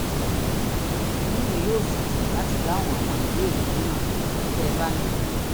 inú mi yóò sì dùn láti dáhùn àwọn ìbéèrè mìíràn tẹ́ ẹ bá ní